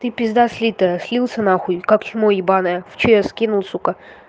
ты пизда слитая слился нахуй как чмо ебаное в чс кинул сука